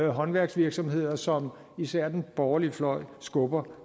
håndværksvirksomheder som især den borgerlige fløj skubber